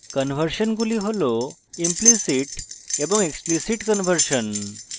conversion গুলি হল implicit এবং explicit conversion